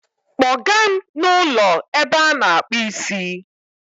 Take me to that barbing salon